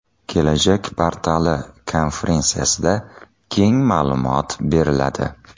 Kelajak portali” konferensiyasida keng ma’lumot beriladi.